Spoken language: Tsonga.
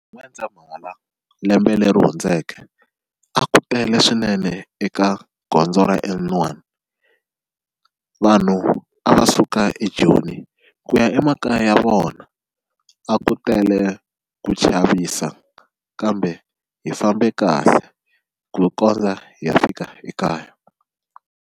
N'wendzamhala lembe leri hundzeke a ku tele swinene eka gondzo ra N1 vanhu a va suka eJoni ku ya emakaya ya vona a ku tele ku chavisa kambe hi fambe kahle ku kondza hi ya fika ekaya.